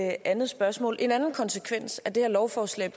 et andet spørgsmål en anden konsekvens af det her lovforslag